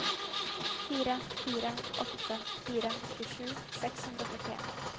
fire fire åtte fire tjuesju seks hundre og førtien